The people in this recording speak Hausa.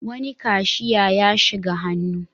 Wani kashiya ya shiga hannu.